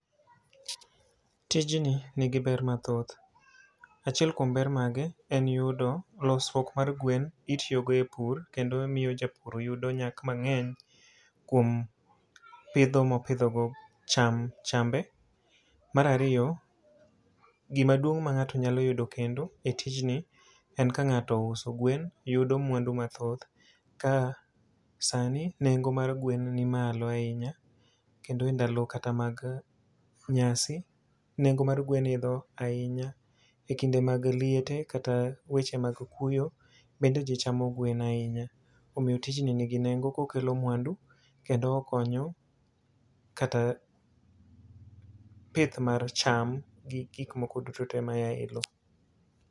Tijni nigi ber mathoth, achiel kuom ber mage en yudo losruok mar gwen itiyo go e pur. Kendo miyo japur yudo nyak mang'eny kuom pidho mopidho go cham, chambe. Marariyo, gima duong' ma ng'ato nyalo yudo kendo, e tijni, en ka ng'ato ouso gwen yudo mwandu mathoth. Ka sani nengo mar gwen ni malo ahinya, kendo e ndalo kata mag nyasi, nengo mar gwen idho ahinya e kinde mag liete kata weche mag kuyo bende ji chamo gwen ahinya. Omiyo tijni nigi nengo kokelo mwandu kendo okonyo kata pith mar cham gi gik moko duto te maya e lo.